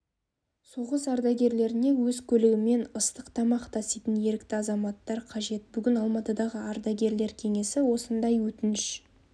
соғыс ардагерлеріне өз көлігімен ыстық тамақ таситын ерікті азаматтар қажет бүгін алматыдағы ардагерлер кеңесі осындай өтініш